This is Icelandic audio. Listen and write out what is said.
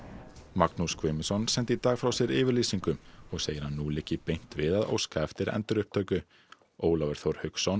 Magnús Guðmundsson sendi í dag frá sér yfirlýsingu og segir að nú liggi beint við að óska eftir endurupptöku Ólafur Þór Hauksson